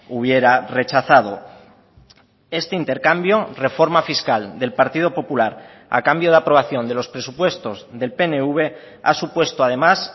hubiera rechazado este intercambio reforma fiscal del partido popular a cambio de aprobación de los presupuestos del pnv ha supuesto además